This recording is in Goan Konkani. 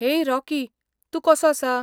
हेय, रॉकी. तूं कसो आसा?